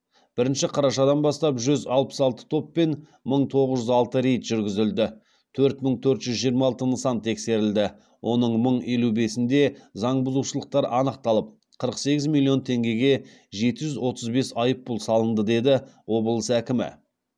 бірінші қарашадан бастап жүз алпыс алты топпен мың тоғыз жүз алты рейд жүргізілді төрт мың төрт жүз жиырма алты нысан тексерілді оның мың елу бесінде заңбұзушылықтар анықталып қырық сегіз миллион теңгеге жеті жүз отыз бес айыппұл салынды деді облыс әкімі